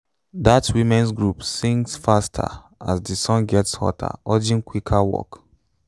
dat women’s group sings faster as di sun gets hotter urging quicker work.